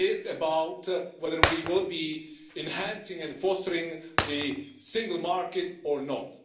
This is about whether we will be enhancing and fostering the single market or not.